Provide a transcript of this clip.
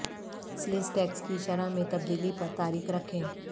sales tax کی شرح میں تبدیلی پر تاریخ رکھیں